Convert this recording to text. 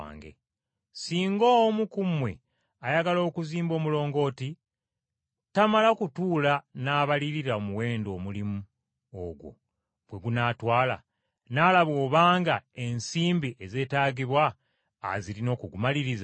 “Singa omu ku mmwe ayagala okuzimba omulungooti, tamala kutuula n’abalirira omuwendo omulimu ogwo gwe gunaatwala, n’alaba obanga ensimbi ezeetaagibwa azirina okugumaliriza?